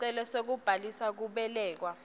sicelo sekubhalisa kubelekwa